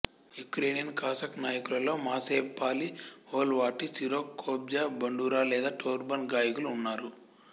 Ukrainian Cossack నాయకులలో Mazepa Paliy Holovaty Sirko kobza bandura లేదా torban గాయకులు ఉన్నారు